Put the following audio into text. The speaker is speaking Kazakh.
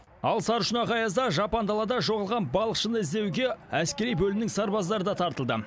ал сарышұнақ аязда жапан далада жоғалған балықшыны іздеуге әскери бөлімнің сарбаздары да тартылды